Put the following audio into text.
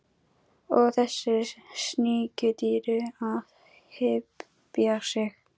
Og þessu sníkjudýri að hypja sig!